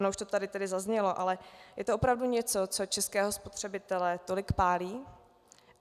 Ono už to tady tedy zaznělo - ale je to opravdu něco, co českého spotřebitele tolik pálí?